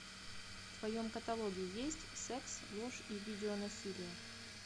в твоем каталоге есть секс ложь и видеонасилие